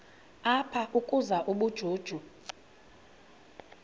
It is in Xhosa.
apha ukuzuza ubujuju